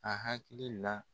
A hakili la.